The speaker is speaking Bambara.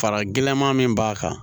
Fara gɛlɛma min b'a kan